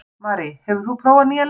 Marí, hefur þú prófað nýja leikinn?